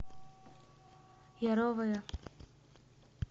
яровое